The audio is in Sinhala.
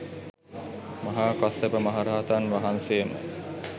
මහා කස්සප මහ රහතන් වහන්සේම